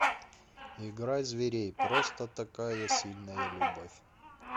играй зверей просто такая сильная любовь